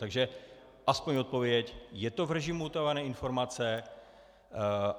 Takže aspoň odpověď: Je to v režimu utajované informace?